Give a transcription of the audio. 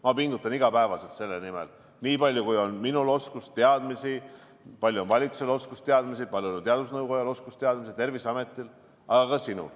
Ma pingutan iga päev selle nimel, nii palju kui minul on oskusteadmisi, nii palju kui valitsusel on oskusteadmisi, nii palju kui teadusnõukojal oskusteadmisi, samuti Terviseametil, aga ka sinul.